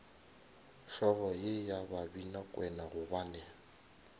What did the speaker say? hlogo ye ya babinakwena gobane